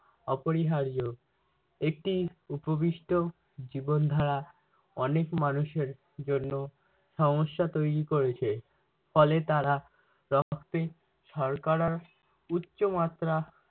অপরিহার্য। একটি উপবিষ্ট জীবনধারা অনেক মানুষের জন্য সমস্যা তৈরী করেছে, ফলে তারা রক্তে শর্করার উচ্চ মাত্রা